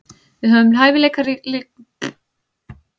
Við höfum hæfileikaríka unga stráka sem eiga eftir að ná langt.